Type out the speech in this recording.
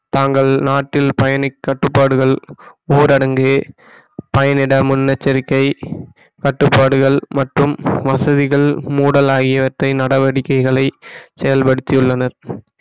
தாங்கள் நாட்டில் பயணிக் கட்டுப்பாடுகள் ஊரடங்கு பயனிட முன்னெச்சரிக்கை கட்டுப்பாடுகள் மற்றும் வசதிகள் மூடல் ஆகியவற்றை நடவடிக்கைகளை செயல்படுத்தியுள்ளனர்